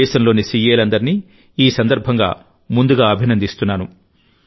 దేశంలోని సీఏలందరినీ ఈ సందర్భంగా ముందుగా అభినందిస్తున్నాను